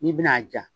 N'i bɛna a ja